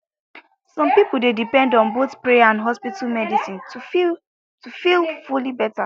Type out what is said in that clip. some people dey depend on both prayer and hospital medicine to feel to feel fully better